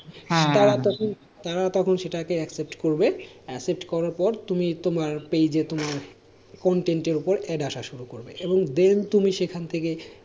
তারা তখন, তারা তখন সেটাকে accept করবে accept করার পর তুমি তোমার page দিয়ে তোমার content এর ওপর add আসা শুরু করবে, এবং then তুমি সেখান থেকে,